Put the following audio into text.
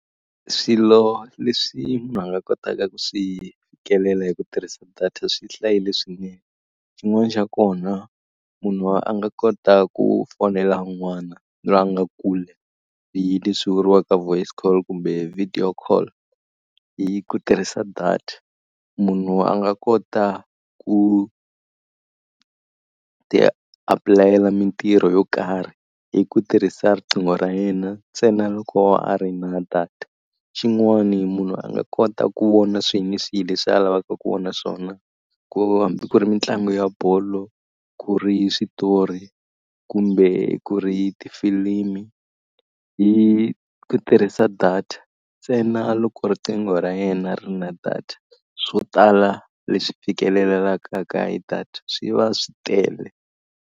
Swilo leswi munhu a nga kotaka ku swi fikelela hi ku tirhisa data swi hlayile swinene, xin'wana xa kona munhu a nga kota ku fonela un'wana loyi a nga kule hi leswi vuriwaka voice call kumbe video call hi ku tirhisa data. Munhu a nga kota ku ti apulayela mitirho yo karhi hi ku tirhisa riqingho ra yena ntsena loko a ri na data. Xin'wani munhu a nga kota ku vona swihi ni swihi leswi a lavaka ku vona swona, ku hambi ku ri mitlangu ya bolo, ku ri switori, kumbe ku ri tifilimi, hi ku tirhisa data ntsena loko riqingho ra yena ri na data. Swo tala leswi fikelelekaka ka hi data swi va swi tele.